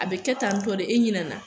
A be kɛ tantɔ de e ɲinɛ na